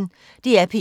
DR P1